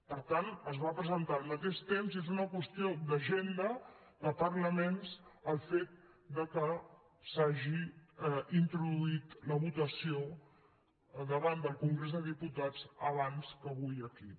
per tant es va presentar al mateix temps i és una qüestió d’agenda de parlaments el fet que s’hagi introduït la votació davant del congrés dels diputats abans que avui aquí